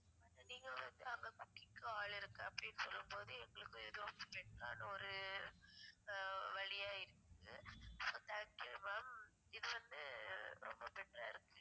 அது நீங்க வந்து அங்க cooking க்கு ஆள் இருக்கு அப்டின்னு சொல்லும் போது எங்களுக்கும் எதோ better ஆன ஒரு வலியாயிருச்சி so thank you ma'am இது வந்து ரொம்ப better ஆ இருக்கு